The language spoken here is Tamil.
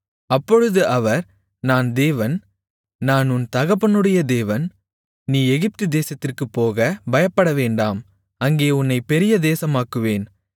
அப்பொழுது அவர் நான் தேவன் நான் உன் தகப்பனுடைய தேவன் நீ எகிப்துதேசத்திற்குப்போகப் பயப்படவேண்டாம் அங்கே உன்னைப் பெரிய தேசமாக்குவேன்